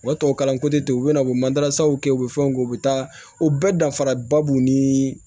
Wa tubabu kalan ko tɛ ten u bɛ na u bɛ mandarasaw kɛ u bɛ fɛnw kɛ u bɛ taa o bɛɛ dafara ba b'u ni